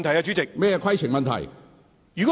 主席，規程問題。